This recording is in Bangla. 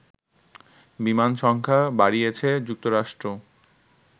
বিমান সংখ্যা বাড়িয়েছে যুক্তরাষ্ট্র